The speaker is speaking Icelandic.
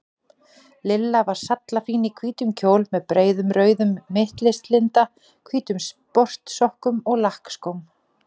Lilla var sallafín í hvítum kjól með breiðum rauðum mittislinda, hvítum sportsokkum og lakkskóm.